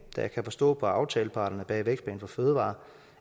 jeg kan forstå på aftaleparterne bag vækstplan for fødevarer